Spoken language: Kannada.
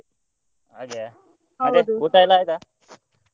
ಹಾಗೆಯಾ ಊಟ ಆಯ್ತಾ?